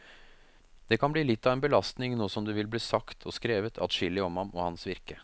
Det kan bli litt av en belastning nå som det vil bli sagt, og skrevet, adskillig om ham og hans virke.